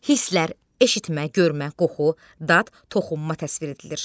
Hislər, eşitmə, görmə, qoxu, dad, toxunma təsvir edilir.